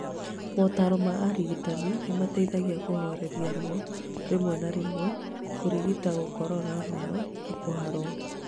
Motaro ma arigitani nĩ mateithagia kũhooreria ruo, rĩmwe na rĩmwe, kũrigita gũkorora mũno na kũharwo.